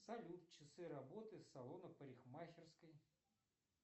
салют часы работы салона парикмахерской